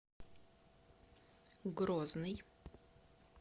грозный